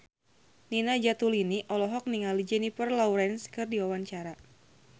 Nina Zatulini olohok ningali Jennifer Lawrence keur diwawancara